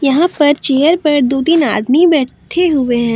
यहां पर चेयर पर दो तीन आदमी बैठे हुए हैं।